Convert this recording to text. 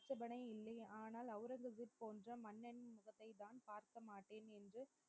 ஆட்சேபணை இல்லை ஆனால் ஒளரங்கசீப் போன்ற மன்னன் முகத்தை தான் பார்க்க மாட்டேன் என்று